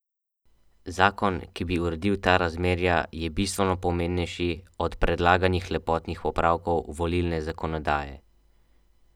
Zakon, ki bi uredil ta razmerja, je bistveno pomembnejši od predlaganih lepotnih popravkov volilne zakonodaje.